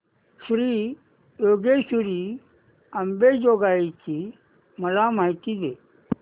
श्री योगेश्वरी अंबेजोगाई ची मला माहिती दे